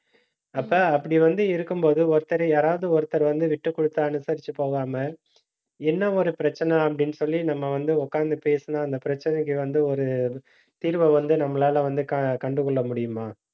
அப்ப அப்படி வந்து இருக்கும்போது ஒருத்தர் யாராவது ஒருத்தர் வந்து, விட்டுக் கொடுத்து அனுசரிச்சு போகாமல் என்ன ஒரு பிரச்சனை அப்படின்னு சொல்லி நம்ம வந்து உட்கார்ந்து பேசினா அந்த பிரச்சனைக்கு வந்து, ஒரு தீர்வை வந்து நம்மளால வந்து க~ கண்டு கொள்ள முடியுமா